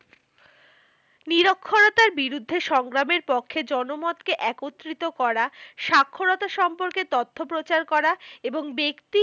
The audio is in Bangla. নিরক্ষরতার বিরুদ্ধে সংগ্রামের পক্ষে জনমতকে একত্রিত করা, স্বাক্ষরতা সম্পর্কে তথ্য প্রচার করা, এবং ব্যক্তি